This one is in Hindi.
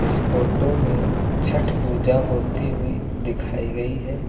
इस फोटो में छठ पूजा होती हुई दिखाई गई है।